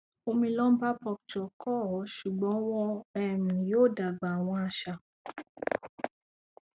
omi lumbarpuncture ko o ṣugbọn wọn um yoo dagba awọn aṣa